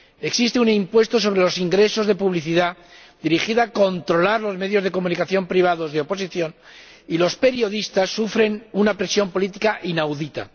Existe un impuesto sobre los ingresos de publicidad dirigido a controlar los medios de comunicación privados de oposición, y los periodistas sufren una presión política inaudita.